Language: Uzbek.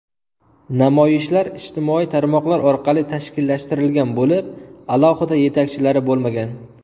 Namoyishlar ijtimoiy tarmoqlar orqali tashkillashtirilgan bo‘lib, alohida yetakchilari bo‘lmagan.